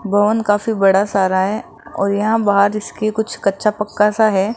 Bone काफी बड़ा सारा है और यहाँ बाहर इसके कुछ कच्चा पक्का सा है।